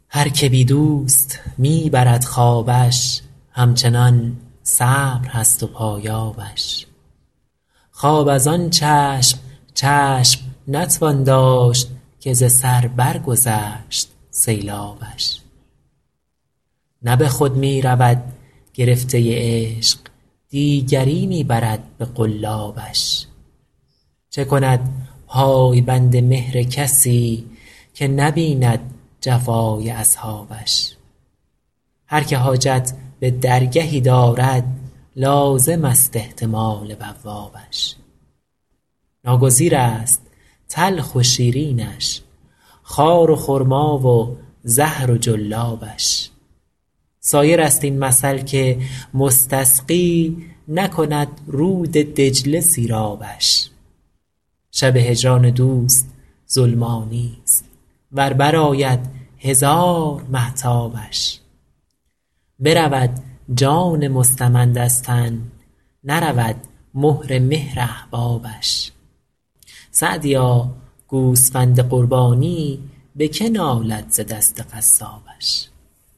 هر که بی دوست می برد خوابش همچنان صبر هست و پایابش خواب از آن چشم چشم نتوان داشت که ز سر برگذشت سیلابش نه به خود می رود گرفته عشق دیگری می برد به قلابش چه کند پای بند مهر کسی که نبیند جفای اصحابش هر که حاجت به درگهی دارد لازمست احتمال بوابش ناگزیرست تلخ و شیرینش خار و خرما و زهر و جلابش سایرست این مثل که مستسقی نکند رود دجله سیرابش شب هجران دوست ظلمانیست ور برآید هزار مهتابش برود جان مستمند از تن نرود مهر مهر احبابش سعدیا گوسفند قربانی به که نالد ز دست قصابش